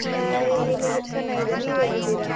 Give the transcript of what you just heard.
Hai ಚೆನ್ನಾಗಿದ್ದೇನೆ, ನೀವ್ ಹೇಗಿದ್ದೀರಾ?